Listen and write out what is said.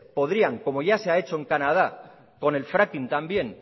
podrían como ya se ha hecho en canadá con el fracking también